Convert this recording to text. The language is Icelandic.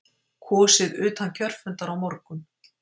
Kosið utan kjörfundar á morgun